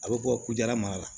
A bɛ bɔ kudala mara la